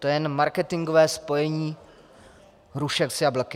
To je jen marketingové spojení hrušek s jablky.